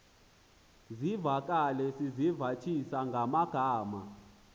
zivakale sizivathisa ngamagama